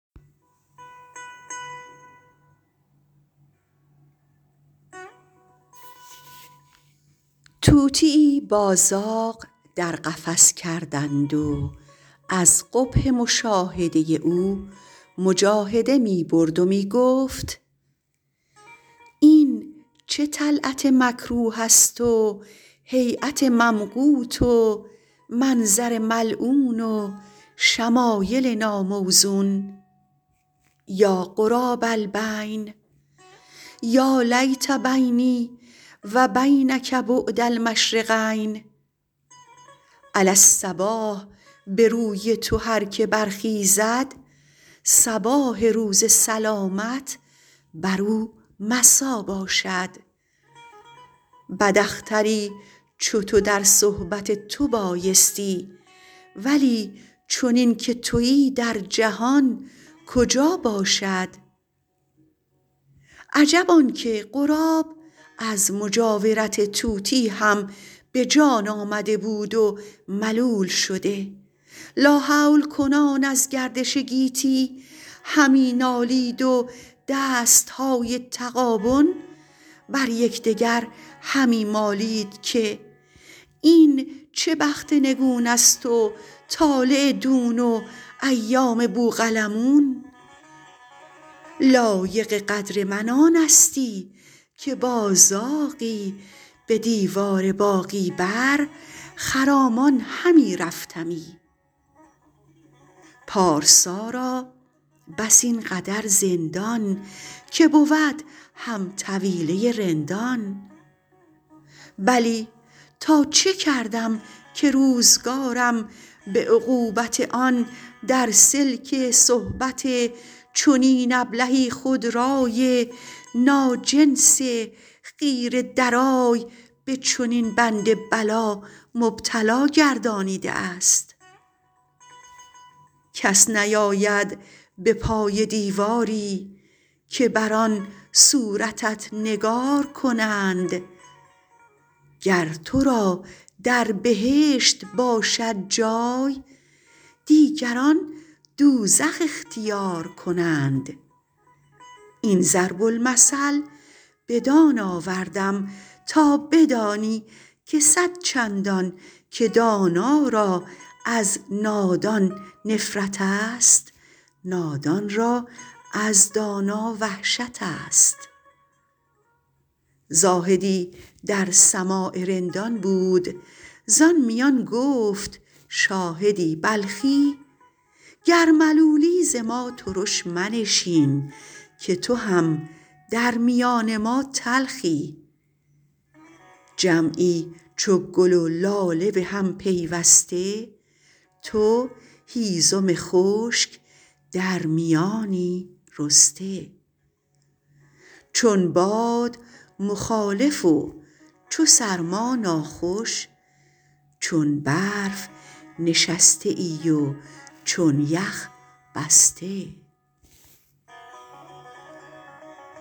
طوطیی با زاغ در قفس کردند و از قبح مشاهده او مجاهده می برد و می گفت این چه طلعت مکروه است و هیأت ممقوت و منظر ملعون و شمایل ناموزون یا غراب البین یا لیت بینی و بینک بعد المشرقین علی الصباح به روی تو هر که برخیزد صباح روز سلامت بر او مسا باشد بد اختری چو تو در صحبت تو بایستی ولی چنین که تویی در جهان کجا باشد عجب آن که غراب از مجاورت طوطی هم به جان آمده بود و ملول شده لاحول کنان از گردش گیتی همی نالید و دستهای تغابن بر یکدگر همی مالید که این چه بخت نگون است و طالع دون و ایام بوقلمون لایق قدر من آنستی که با زاغی به دیوار باغی بر خرامان همی رفتمی پارسا را بس این قدر زندان که بود هم طویله رندان بلی تا چه کردم که روزگارم به عقوبت آن در سلک صحبت چنین ابلهی خودرای ناجنس خیره درای به چنین بند بلا مبتلا گردانیده است کس نیاید به پای دیواری که بر آن صورتت نگار کنند گر تو را در بهشت باشد جای دیگران دوزخ اختیار کنند این ضرب المثل بدان آوردم تا بدانی که صدچندان که دانا را از نادان نفرت است نادان را از دانا وحشت است زاهدی در سماع رندان بود زآن میان گفت شاهدی بلخی گر ملولی ز ما ترش منشین که تو هم در میان ما تلخی جمعی چو گل و لاله به هم پیوسته تو هیزم خشک در میانی رسته چون باد مخالف و چو سرما ناخوش چون برف نشسته ای و چون یخ بسته